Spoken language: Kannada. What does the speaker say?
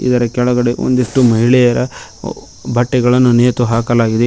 ಇದರ ಕೆಳಗಡೆ ಒಂದಿಷ್ಟು ಮಹಿಳೆಯರ ಬಟ್ಟೆಗಳನ್ನು ನೇತುಹಾಕಲಾಗಿದೆ.